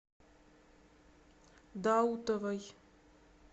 даутовой